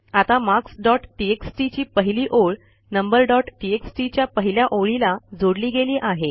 आता marks dot TXT ची पहिली ओळ नंबर डॉट टीएक्सटी च्या पहिल्या ओळीला जोडली गेली आहे